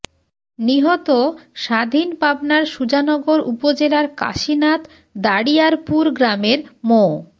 নিহত স্বাধীন পাবনার সুজানগর উপজেলার কাশিনাথ দাড়িয়ারপুর গ্রামের মো